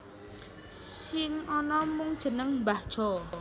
Sing ana mung jeneng Mbah Jo